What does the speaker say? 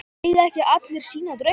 Eiga ekki allir sína drauma?